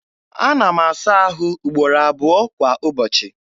Ana m asa ahụ ugboro abụọ kwa ụbọchị.